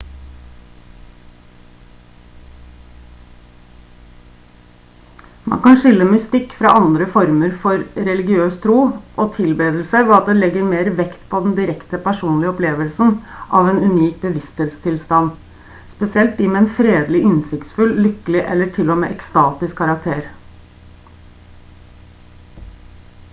man kan skille mystikk fra andre former for religiøs tro og tilbedelse ved at det legger mer vekt på den direkte personlige opplevelsen av en unik bevissthetstilstand spesielt de med en fredelig innsiktsfull lykkelig eller til og med ekstatisk karakter